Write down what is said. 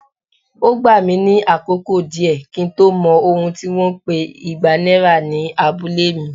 Ó gbà mí ní àkókò díẹ̀ kí n tó mọ̀ ohun tí wón ń pè igba náírà ní abúlé mi.